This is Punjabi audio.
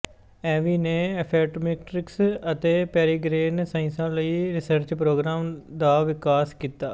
ਏਵੀ ਨੇ ਐਫਿਮੇਟ੍ਰਿਕਸ ਅਤੇ ਪੈਰੀਗੇਨ ਸਾਇੰਸਾਂ ਲਈ ਰਿਸਰਚ ਪ੍ਰੋਗਰਾਮਾਂ ਦਾ ਵਿਕਾਸ ਕੀਤਾ